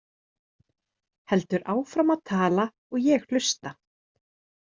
Heldur áfram að tala og ég hlusta.